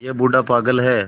यह बूढ़ा पागल है